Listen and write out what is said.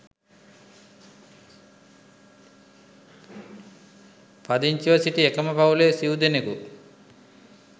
පදිංචිව සිටි එකම පවුලේ සිව් දෙනකු